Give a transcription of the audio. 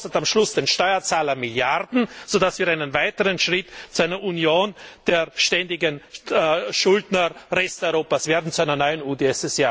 Es kostet am Schluss den Steuerzahler Milliarden, sodass wir einen weiteren Schritt zu einer Union der ständigen Schuldner Resteuropas machen, zu einer neuen UdSSR.